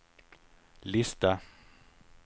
lista